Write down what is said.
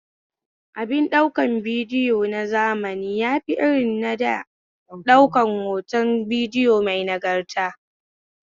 Abin ɗaukar bidiyo na zamani yafi irin na da ɗaukar hoton bidiyo mai nagarta